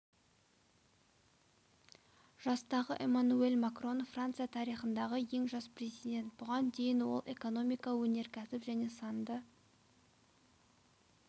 жастағы эммануэль макрон франция тарихындағы ең жас президент бұған дейін ол экономика өнеркәсіп және санды